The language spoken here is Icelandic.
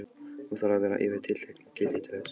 Hún þarf að vera yfir tilteknu gildi til þess.